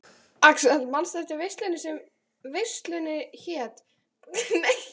Axel, manstu hvað verslunin hét sem við fórum í á miðvikudaginn?